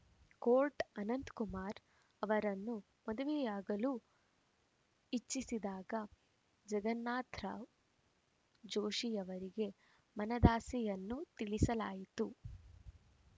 coat Ananthkumar ಅವರನ್ನು ಮದುವೆಯಾಗಲು ಇಚ್ಛಿಸಿದಾಗ ಜಗನ್ನಾಥರಾವ್‌ ಜೋಷಿಯವರಿಗೆ ಮನದಾಸೆಯನ್ನು ತಿಳಿಸಲಾಯಿತು